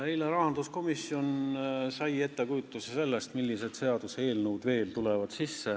Eile sai rahanduskomisjon ettekujutuse sellest, millised seaduseelnõud veel tulevad.